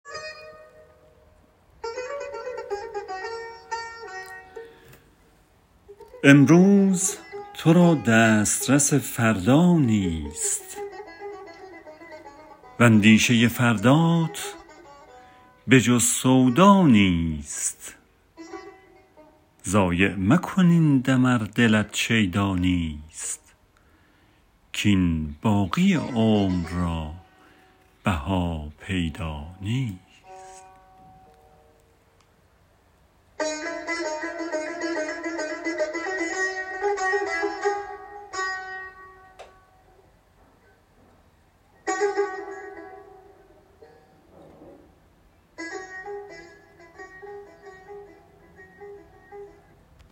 امروز تو را دسترس فردا نیست واندیشه فردات به جز سودا نیست ضایع مکن این دم ار دلت شیدا نیست کاین باقی عمر را بها پیدا نیست